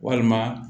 Walima